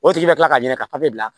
O tigi ka kila ka ɲininka ka papiye bila